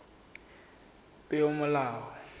peomolao